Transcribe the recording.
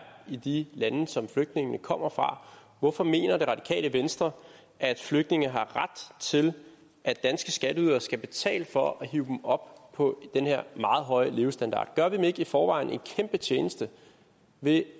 i de lande som flygtningene kommer fra hvorfor mener det radikale venstre at flygtninge har ret til at danske skatteydere skal betale for at hive dem op på den her meget høje levestandard gør vi dem ikke i forvejen en kæmpe tjeneste ved